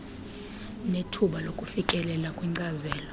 nethuba lokufikelela kwinkcazelo